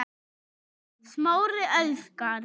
Smári elskar